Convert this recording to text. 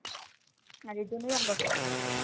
এই জন্য আমরা প্রথমে পরি